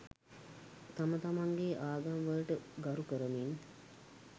තම තමන්ගේ ආගම් වලට ගරු කරමින්